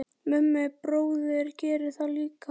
Mummi bróðir gerði það líka.